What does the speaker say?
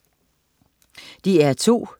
DR2: